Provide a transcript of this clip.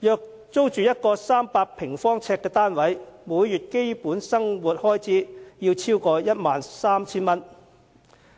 但若租住一個300平方呎單位，每月基本生活開支便會超過 13,000 元。